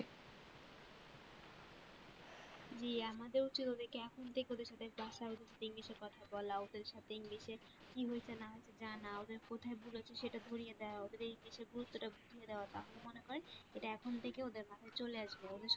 জি আমাদেরও চলবে